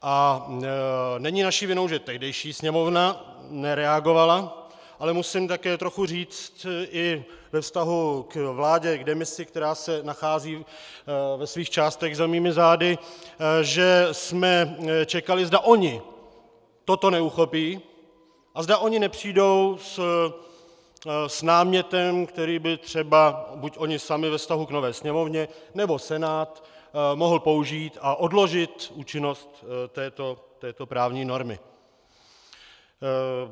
A není naší vinou, že tehdejší Sněmovna nereagovala, ale musím také trochu říct i ve vztahu k vládě v demisi, která se nachází ve svých částech za mými zády, že jsme čekali, zda oni toto neuchopí a zda oni nepřijdou s námětem, který by třeba buď oni sami ve vztahu k nové Sněmovně, nebo Senát mohl použít a odložit účinnost této právní normy.